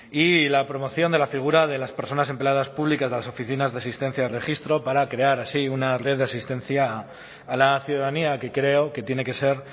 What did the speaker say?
y la promoción de la figura de las personas empleadas públicas de las oficinas de asistencia al registro para crear así una red de asistencia a la ciudadanía que creo que tiene que ser